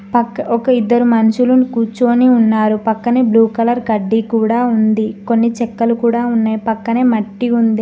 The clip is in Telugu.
ఒక ఇద్దరు మనుషులను కూర్చొని ఉన్నారు పక్కనే బ్లూ కలర్ కడ్డీ కూడా ఉంది కొన్ని చెక్కలు కూడా ఉన్నాయి పక్కనే మట్టి ఉంది.